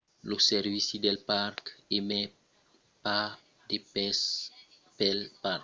lo servici del parc minae emet pas de permeses pel parc mai d'un mes en avança de l'arribada prevista